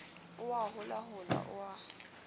o a holahola o a